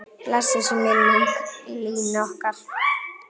Blessuð sé minning Línu okkar.